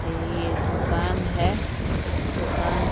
ये दुकान है। इस दुकान --